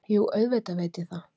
Jú, auðvitað veit ég það.